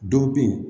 Dɔw be yen